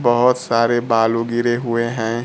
बहुत सारे बालू गिरे हुए हैं।